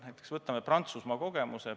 Näiteks võtame Prantsusmaa kogemuse.